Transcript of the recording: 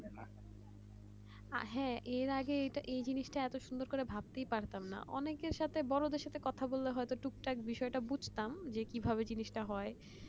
হ্যাঁ এর আগে এই যে এটা এত সুন্দর করে ভাবতেই পারতাম না অনেকের সাথে বড়দের সাথে কথা বললে হয়তো টুকটাক বিষয় টা বুঝতাম যে কিভাবে জিনিসটা হয়